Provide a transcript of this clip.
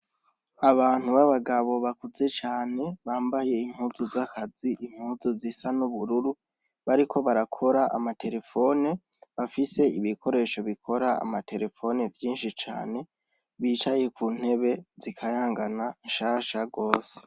Abantu b'abagabo bakuze cane bambaye impuzu z'akazi, impuzu zisa n'ubururu bariko barakora amaterefone, bafise ibikoresho bikora amaterefone vyinshi cane, bicaye ku ntebe zikayangana, nshasha rwose.